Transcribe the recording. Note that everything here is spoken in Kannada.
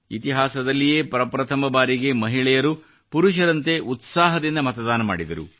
ಇತಿಹಾಸದಲ್ಲಿಯೇ ಪ್ರಥಮ ಬಾರಿಗೆ ಮಹಿಳೆಯರು ಪುರುಷರಂತೆ ಉತ್ಸಾಹದಿಂದ ಮತದಾನ ಮಾಡಿದರು